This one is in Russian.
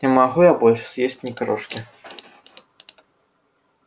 не могу я больше съесть ни крошки